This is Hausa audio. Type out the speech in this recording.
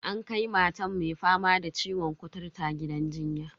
An kai mata mai fama da ciwon kuturta gidan jinya.